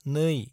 2